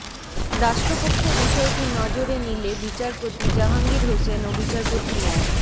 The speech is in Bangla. রাষ্ট্রপক্ষ বিষয়টি নজরে নিলে বিচারপতি জাহাঙ্গীর হোসেন ও বিচারপতি মো